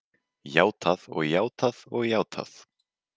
Játað og játað og játað.